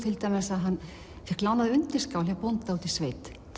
að hann fékk lánaða undirskál hjá bónda úti í sveit